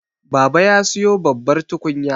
baba ya siyo babbar tukunya